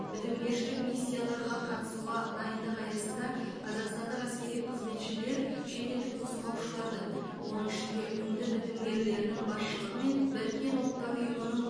бітімгершілік миссияларға қатысуға дайындық аясында қазақстандық әскери қызметшілер шетелдік нұсқаушылардың оның ішінде үнді бітімгерлерінің басшылығы мен біріккен ұлттар ұйымының